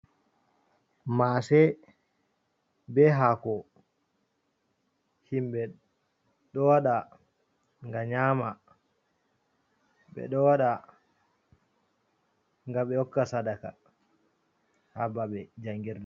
Maase be haako, himɓe ɗo waɗa ngam nyaama, ɓe ɗo waɗa ngam ɓe hokka sadaka, haa babe jangirde.